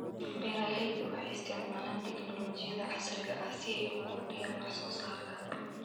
Beeraleydu waxay isticmaalaan tignoolajiyada casriga ah si ay u kordhiyaan wax soo saarka.